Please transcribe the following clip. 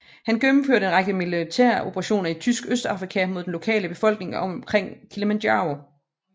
Han gennemførte en række militæroperationer i Tysk Østafrika mod den lokale befolkning omkring Kilimanjaro